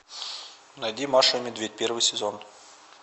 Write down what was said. найди маша и медведь первый сезон